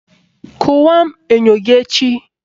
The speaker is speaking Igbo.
Kụwaa enyo gị echi!